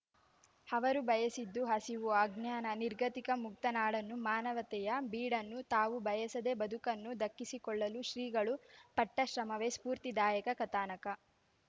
ಅವರು ಬಯಸಿದ್ದು ಹಸಿವು ಅಜ್ಞಾನ ನಿಗರ್ತಿಕ ಮುಕ್ತ ನಾಡನ್ನು ಮಾನವತೆಯ ಬೀಡನ್ನು ತಾವು ಬಯಸಿದ ಬದುಕನ್ನು ದಕ್ಕಿಸಿಕೊಳ್ಳಲು ಶ್ರೀಗಳು ಪಟ್ಟಶ್ರಮವೇ ಸ್ಫೂರ್ತಿದಾಯಕ ಕಥಾನಕ